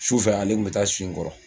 Sufɛ ale tun bɛ taa si n kɔrɔ